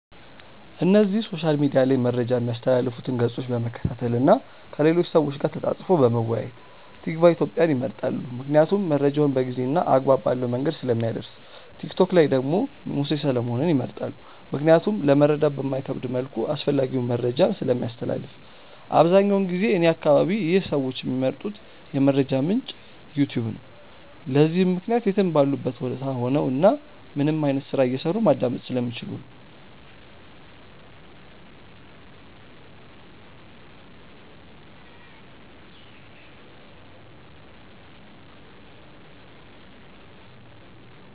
እነዚህ ሶሻል ሚድያ ላይ መረጃ ሚያስተላልፉትን ገፆች በመከታተል እና ከሌሎች ሰዎች ጋር ተፃፅፎ በመወያየት። ቲክቫ ኢትዮጵያን ይመርጣሉ ምክንያቱም መረጃውን በጊዜ እና አግባብ ባለው መንገድ ስለሚያደርስ። ቲክቶክ ላይ ደግሞ ሙሴ ሰለሞንን ይመርጣሉ ምክንያቱም ለመረዳት በማይከብድ መልኩ አስፈላጊውን መረጃን ስለሚያስተላልፍ። አብዛኛውን ጊዜ እኔ አከባቢ ይህ ሰዎች ሚመርጡት የመረጃ ምንጭ "ዩትዩብ" ነው። ለዚህም ምክንያት የትም ባሉበት ቦታ ሆነው እናም ምንም አይነት ስራ እየሰሩ ማዳመጥ ስለሚችሉ ነው።